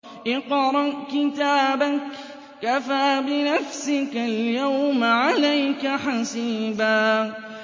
اقْرَأْ كِتَابَكَ كَفَىٰ بِنَفْسِكَ الْيَوْمَ عَلَيْكَ حَسِيبًا